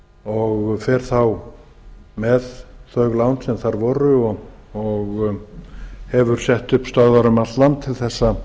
og fer með þau lán sem þar voru hann hefur sett upp stöðvar um allt land til að